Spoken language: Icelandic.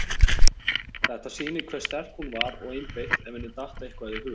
Þetta sýnir hve sterk hún var og einbeitt ef henni datt eitthvað í hug.